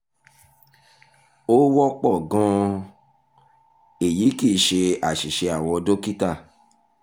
ó wọ́pọ̀ gan-an èyí kì í ṣe àṣìṣe àwọn dókítà